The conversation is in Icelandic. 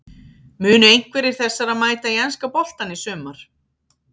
Munu einhverjir þessara mæta í enska boltann í sumar?